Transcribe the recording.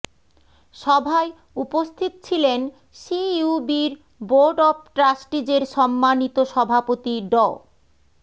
সভায় উপস্থিত ছিলেন সিইউবির বোর্ড অব ট্রাস্টিজের সম্মানিত সভাপতি ড